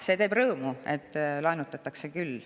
See teeb rõõmu, et laenutatakse.